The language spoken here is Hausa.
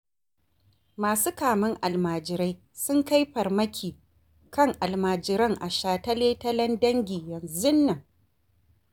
Masu kamen almajirai sun kai farmaki kan alamjiran a shataletalen Dangi yanzun nan.